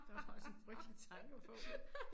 Det var da også en frygtelig tanke at få